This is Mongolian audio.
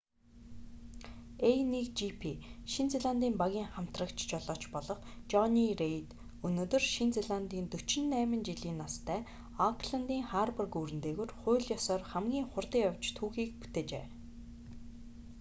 a1gp шинэ зеландын багийн хамтрагч жолооч болох жонни рейд өнөөдөр шинэ зеландын 48 жилийн настай аукландын харбор гүүрэн дээгүүр хууль ёсоор хамгийн хурдан явж түүхийг бүтээжээ